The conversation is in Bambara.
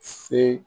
Se